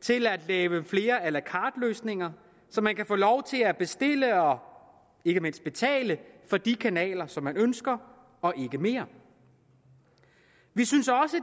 til at lave flere a la carte løsninger så man kan få lov til at bestille og ikke mindst betale for de kanaler som man ønsker og ikke mere vi synes også